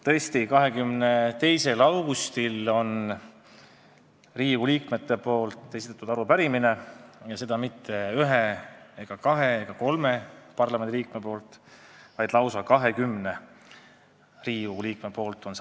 Tõesti, 22. augustil on Riigikogu liikmed esitanud arupärimise ja seda pole teinud mitte üks, kaks ega kolm parlamendiliiget, vaid lausa 20.